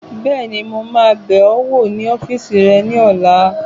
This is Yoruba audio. Bẹ́ẹ̀ni, mo máa bẹ̀ ọ wò ní ọ́fìsì rẹ ní ọ̀la